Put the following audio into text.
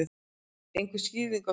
Einhver skýring á því?